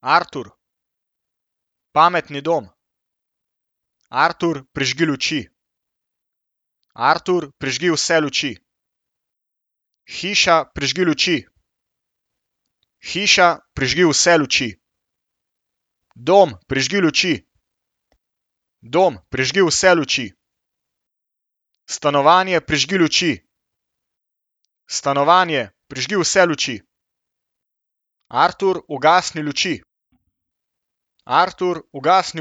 Artur. Pametni dom. Artur, prižgi luči. Artur, prižgi vse luči. Hiša, prižgi luči. Hiša, prižgi vse luči. Dom, prižgi luči. Dom, prižgi vse luči. Stanovanje, prižgi luči. Stanovanje, prižgi vse luči. Artur, ugasni luči. Artur, ugasni